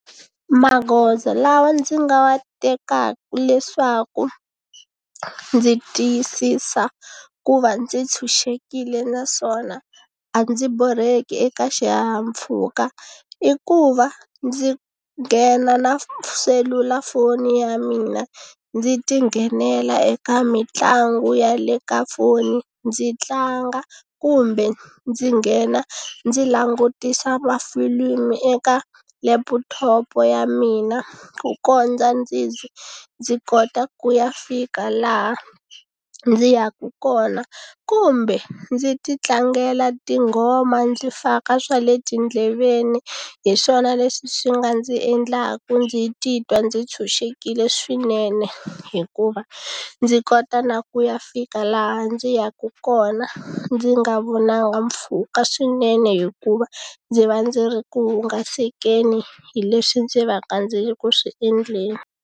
Magoza lawa ndzi nga wa tekaku leswaku ndzi tiyisisa ku va ndzi tshunxekile naswona a ndzi borheki eka xihahampfhuka i ku va ndzi nghena na selulafoni ya mina ndzi ti nghenela eka mitlangu ya le ka foni ndzi tlanga kumbe ndzi nghena ndzi langutisa mafilimu eka leputhopo ya mina ku kondza ndzi ndzi kota ku ya fika laha ndzi yaku kona kumbe ndzi ti tlangela tinghoma ndzi faka swa le tindleveni hi swona leswi swi nga ndzi endlaka ndzi titwa ndzi tshunxekile swinene hikuva ndzi kota na ku ya fika laha ndzi yaka kona ndzi nga vonangi mpfhuka swinene hikuva ndzi va ndzi ri ku hungasekeni hi leswi ndzi va ka ndzi ri ku swi endleni.